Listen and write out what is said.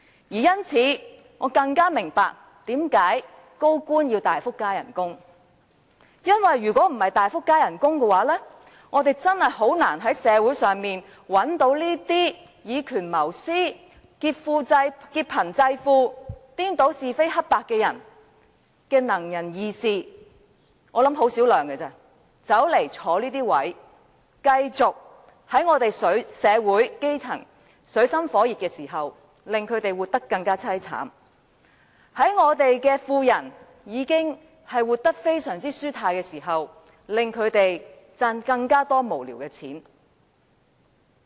因此，我更加明白為何高官要大幅加薪，因為若非如此，確實難以在社會上找到以權謀私、劫貧濟富、顛倒是非黑白的"能人異士"——我相信他們只有為數很少——擔任這些職位，在社會的基層活得水深火熱之時，繼續令他們生活更淒慘；在富人已經活得非常舒泰之時，令他們賺取更多無聊的金錢。